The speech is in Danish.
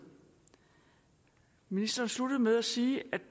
ministeren sluttede med at sige